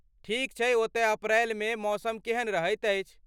ठीक छैक ओतय अप्रैल मे मौसम केहन रहैत अछि?